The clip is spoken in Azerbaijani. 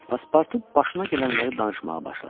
Paspartu başına gələnləri danışmağa başladı.